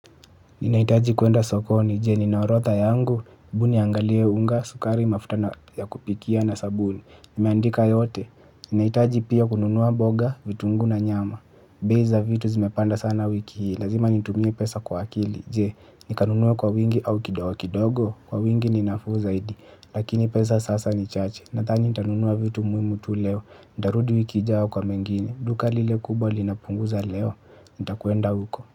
Ninahitaji kwenda sokoni, je nina orodha yangu? Hebu niangalie unga sukari mafuta ya kupikia na sabuni. Nimeandika yote? Ninahitaji pia kunua mboga vitunguu na nyama. Bei za vitu zimepanda sana wiki hii, lazima nitumie pesa kwa akili, je, nitanunua kwa wingi au kidogokidogo? Kwa wingi ni ninafuu zaidi, lakini pesa sasa ni chache, nadhani nitanunua vitu muhimu tu leo. Nitarudi wiki ijayo kwa kwa mengine, duka lile kubwa linapunguza leo, nitakwenda huko.